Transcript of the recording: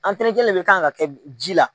le kan ka kɛ ji la.